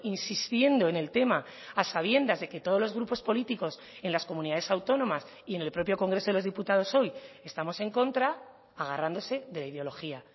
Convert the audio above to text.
insistiendo en el tema a sabiendas de que todos los grupos políticos en las comunidades autónomas y en el propio congreso de los diputados hoy estamos en contra agarrándose de la ideología